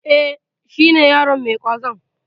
E, shi ne yaron mai ƙwazon.